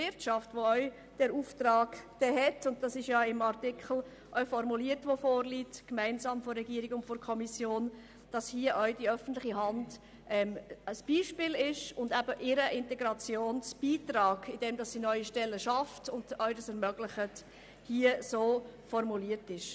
Die öffentliche Hand hat den Auftrag – wie es auch im Artikel gemeinsam von Regierung und Kommission formuliert worden ist – der Wirtschaft als Beispiel dafür zu dienen, wie mit neu geschaffenen Stellen ein Integrationsbeitrag geleistet werden kann.